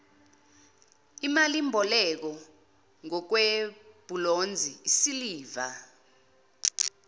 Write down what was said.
imalimboleko ngokwebhulonzi isiliva